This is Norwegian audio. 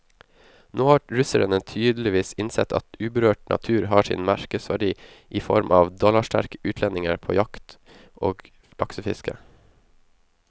Nå har russerne tydeligvis innsett at uberørt natur har sin markedsverdi i form av dollarsterke utlendinger på jakt og laksefiske.